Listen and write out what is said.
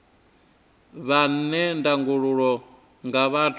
vhe na ndangulo nga vhathu